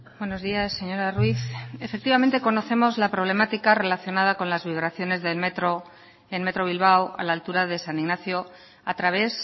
buenos días señora ruiz efectivamente conocemos la problemática relacionada con la vibraciones del metro en metro bilbao a la altura de san ignacio a través